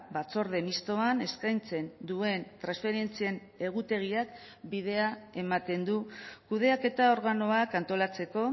batzorde mistoan eskaintzen duen transferentzien egutegiak bidea ematen du kudeaketa organoak antolatzeko